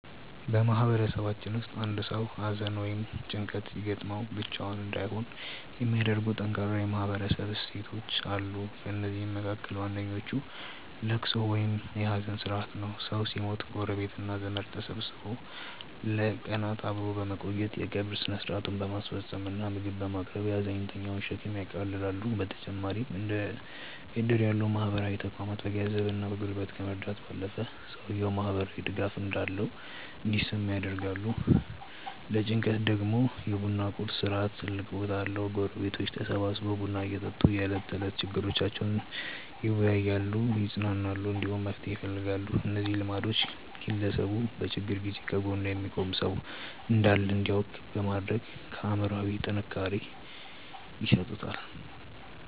በማህበረሰባችን ውስጥ አንድ ሰው ሐዘን ወይም ጭንቀት ሲገጥመው ብቻውን እንዳይሆን የሚያደርጉ ጠንካራ የማህበረሰብ እሴቶች አሉ። ከእነዚህም መካከል ዋነኛው ልቅሶ ወይም የሐዘን ሥርዓት ነው። ሰው ሲሞት ጎረቤትና ዘመድ ተሰብስቦ ለቀናት አብሮ በመቆየት፣ የቀብር ሥነ ሥርዓቱን በማስፈጸም እና ምግብ በማቅረብ የሐዘንተኛውን ሸክም ያቃልላሉ። በተጨማሪም እንደ ዕድር ያሉ ማህበራዊ ተቋማት በገንዘብና በጉልበት ከመርዳት ባለፈ፣ ሰውየው ማህበራዊ ድጋፍ እንዳለው እንዲሰማው ያደርጋሉ። ለጭንቀት ደግሞ የ ቡና ቁርስ ሥርዓት ትልቅ ቦታ አለው፤ ጎረቤቶች ተሰብስበው ቡና እየጠጡ የዕለት ተዕለት ችግሮቻቸውን ይወያያሉ፣ ይጽናናሉ፣ እንዲሁም መፍትሄ ይፈልጋሉ። እነዚህ ልማዶች ግለሰቡ በችግር ጊዜ ከጎኑ የሚቆም ሰው እንዳለ እንዲያውቅ በማድረግ አእምሮአዊ ጥንካሬ ይሰጡታል።